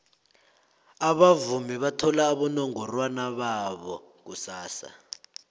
abavumi bathola abonongorwana babo kusasa